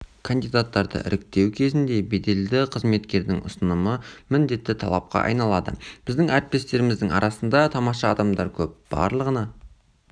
кандидаттарды іріктеу кезінде беделді қызметкердің ұсынымы міндетті талапқа айналады біздің әріптестеріміздің арасында тамаша адамдар көп барлығына